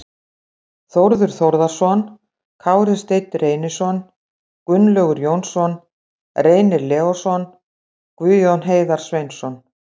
Þórður Þórðarson, Kári Steinn Reynisson, Gunnlaugur Jónsson, Reynir Leósson, Guðjón Heiðar Sveinsson